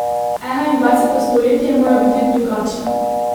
Enaindvajseto stoletje mora biti drugačno!